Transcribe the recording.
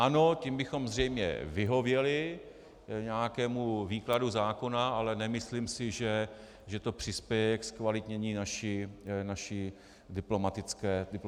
Ano, tím bychom zřejmě vyhověli nějakému výkladu zákona, ale nemyslím si, že to přispěje ke zkvalitnění naší diplomatické služby.